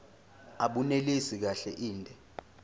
abunelisi kahle inde